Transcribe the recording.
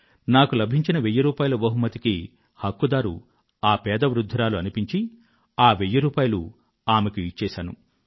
నాకు లభించిన వెయ్యి రూపాయిల బహుమతికి హక్కుదారు ఆ పేద వృధ్ధురాలు అనిపించి ఆ వెయ్యి రూపాయిలూ ఆమెకు ఇచ్చేశాను